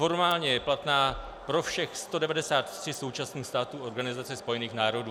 Formálně je platná pro všech 193 současných států Organizace spojených národů.